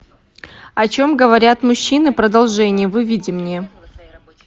о чем говорят мужчины продолжение выведи мне